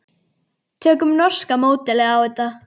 Tökum norska módelið á þetta.